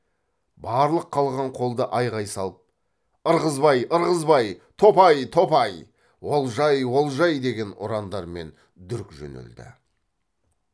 барлық қылғын қол да айғай салып ырғызбай ырғызбай топай топай олжай олжай деген ұрандармен дүрк жөнелді